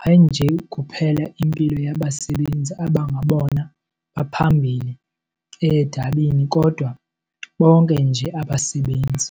hayi nje kuphela impilo yabasebenzi abangabona baphambili edabini kodwa bonke nje abasebenzi.